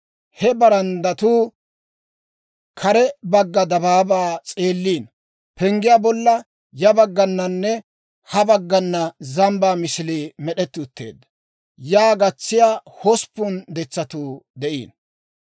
He baranddatuu kare bagga dabaabaa s'eelliino. Penggiyaa bolla ya baggananne ha baggana zambbaa misilii med'etti utteedda. Yaa gatsiyaa hosppun detsatuu de'iino.